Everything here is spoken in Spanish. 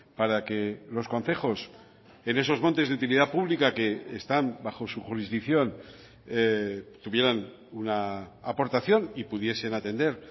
para que los concejos en esos montes de utilidad pública que están bajo su jurisdicción tuvieran una aportación y pudiesen atender